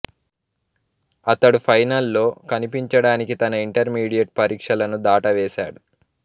అతను ఫైనల్ లో కనిపించడానికి తన ఇంటర్మీడియట్ పరీక్షలను దాటవేసాడు